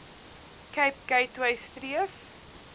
cape gateway streef